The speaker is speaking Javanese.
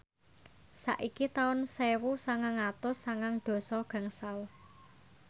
saiki taun sewu sangang atus sangang dasa gangsal